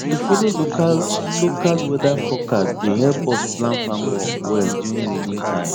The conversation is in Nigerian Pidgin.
to follow local local weather forecast dey help us plan farm work well during rainy time